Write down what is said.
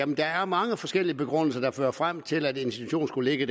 der er mange forskellige begrundelser der fører frem til at en institution skulle ligge